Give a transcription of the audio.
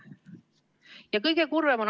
Ja kõige kurvem on ...